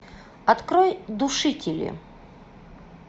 открой душители